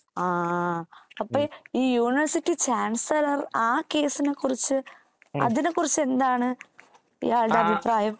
ആ അപ്പൊ ഈ യൂണിവേഴ്സിറ്റി ചാൻസലർ ആ കേസിനെക്കുറിച്ച് അതിനെക്കുറിച്ച് എന്താണ് ഇയാളുടെ അഭിപ്രായം